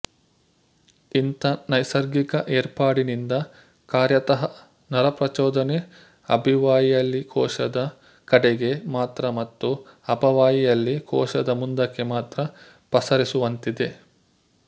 ಇಂಥ ನೈಸರ್ಗಿಕ ಏರ್ಪಾಡಿನಿಂದ ಕಾರ್ಯತಃ ನರಪ್ರಚೋದನೆ ಅಭಿವಾಹಿಯಲ್ಲಿಕೋಶದ ಕಡೆಗೆ ಮಾತ್ರ ಮತ್ತು ಅಪವಾಹಿಯಲ್ಲಿ ಕೋಶದ ಮುಂದಕ್ಕೆ ಮಾತ್ರ ಪಸರಿಸುವಂತಿದೆ